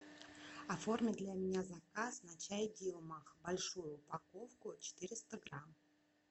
оформи для меня заказ на чай дилмак большую упаковку четыреста грамм